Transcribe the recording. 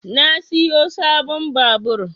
Na siyo sabon babur